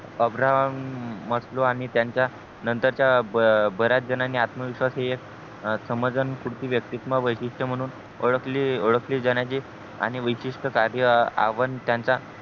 Abraham आणि त्यांच्या नंतर च्या बऱ्याच जणांनी आत्मविश्वास हे समाधान पूर्ती वातितां मा वैशिट्य म्हणून ओळखली जाण्याची आणि विशिष्ट्य कार्य आव्हान त्याचा